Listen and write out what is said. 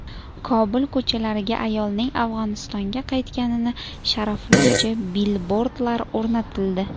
Kobul ko‘chalariga ayolning Afg‘onistonga qaytganini sharaflovchi bilbordlar o‘rnatildi .